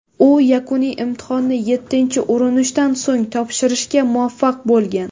U yakuniy imtihonni yettinchi urinishdan so‘ng topshirishga muvaffaq bo‘lgan.